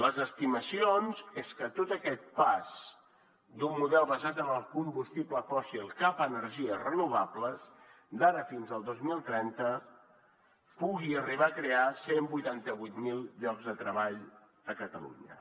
les estimacions són que tot aquest pas d’un model basat en el combustible fòssil cap a energies renovables d’ara fins al dos mil trenta pugui arribar a crear cent i vuitanta vuit mil llocs de treball a catalunya